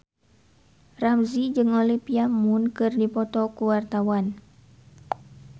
Ramzy jeung Olivia Munn keur dipoto ku wartawan